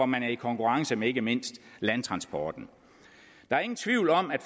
man er i konkurrence med ikke mindst landtransporten der er ingen tvivl om at